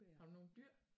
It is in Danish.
Har du nogen dyr?